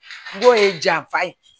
N'o ye janfa ye